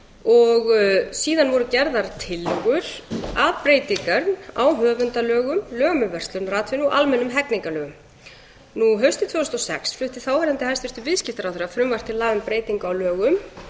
málverkafalsara síðan voru gerðar tillögur að breytingum á höfundalögum lögum um verslunaratvinnu og almennum hegningarlögum haustið tvö þúsund og sex flutti þáverandi hæstvirtur viðskiptaráðherra frumvarp til laga um breytingu á lögum